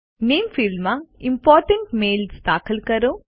નામે ફિલ્ડમાં important mails દાખલ કરો